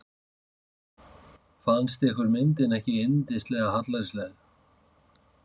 Fannst ykkur myndin ekki yndislega hallærisleg?